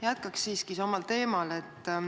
Jätkaks siiski endisel teemal.